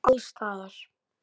Alls staðar.